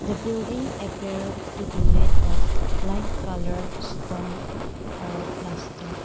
the building appeared to be made of light colour stone or plaster.